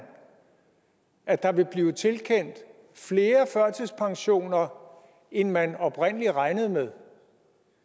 at der vil blive tilkendt flere førtidspensioner end man oprindelig regnede med